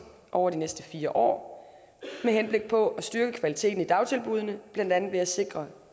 over de næste fire år med henblik på at styrke kvaliteten i dagtilbuddene blandt andet ved at sikre